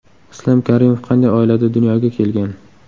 Islom Karimov qanday oilada dunyoga kelgan?